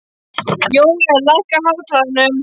Jóel, lækkaðu í hátalaranum.